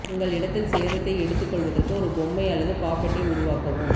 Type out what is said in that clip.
உங்கள் இடத்தில் சேதத்தை எடுத்துக்கொள்வதற்கு ஒரு பொம்மை அல்லது பாப்பேட்டை உருவாக்கவும்